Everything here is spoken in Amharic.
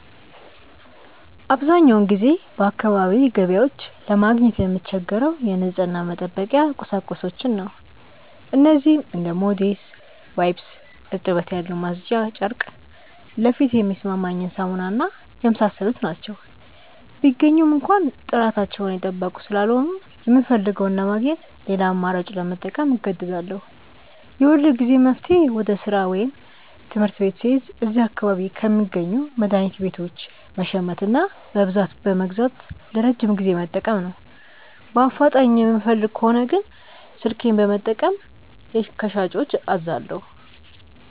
አብዛኛውን ጊዜ በአካባቢዬ ገበያዎች ለማግኘት የምቸገረው የንጽህና መጠበቂያ ቁሳቁሶችን ነው። እነዚህም እንደ ሞዴስ፣ ዋይፕስ (እርጥበት ያለው ማጽጃ ጨርቅ)፣ ለፊቴ የሚስማማኝ ሳሙና እና የመሳሰሉት ናቸው። ቢገኙም እንኳ ጥራታቸውን የጠበቁ ስላልሆኑ፣ የምፈልገውን ለማግኘት ሌላ አማራጭ ለመጠቀም እገደዳለሁ። የሁልጊዜም መፍትሄዬ ወደ ሥራ ወይም ትምህርት ቤት ስሄድ እዚያ አካባቢ ከሚገኙ መድኃኒት ቤቶች መሸመትና በብዛት በመግዛት ለረጅም ጊዜ መጠቀም ነው። በአፋጣኝ የምፈልግ ከሆነ ግን ስልኬን በመጠቀም ከሻጮች አዛለሁ።